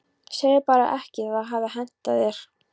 Segðu bara ekki að það hafi hentað þér.